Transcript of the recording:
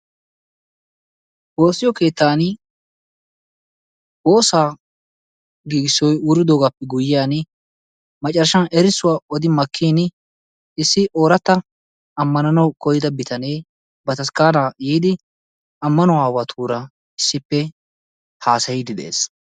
Woossiyo keettan woosaa giigissoyi wuridoogaappe guyyiyan macarashan erissuwa odi makkin issi ooratta ammananawu koyyida bitanee bataskkaanaa yiidi ammanuwa aawatuura issippe haasayiiddi de'es.